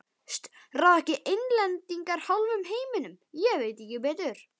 Ráða ekki Englendingar hálfum heiminum, ég veit ekki betur.